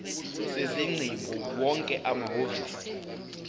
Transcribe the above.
sezingcingo wonke amahhovisi